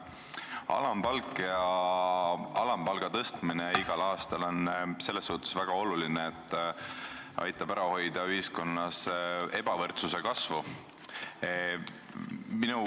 Alampalk ja alampalga tõstmine igal aastal on selles mõttes väga oluline, et see aitab ära hoida ebavõrdsuse kasvu ühiskonnas.